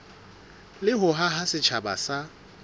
le ho haha setjhaba sa